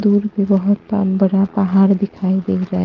दूर पे बहुत ब बड़ा पहाड़ दिखाई दे रहा है।